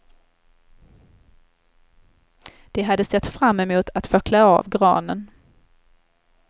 De hade sett fram emot att få klä av granen.